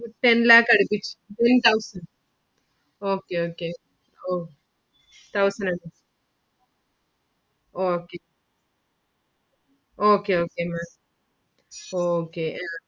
Ten lakh അടുപ്പിച്ചു in thousand okay okay okay thousand okay okay okay Maám okay ആ അത്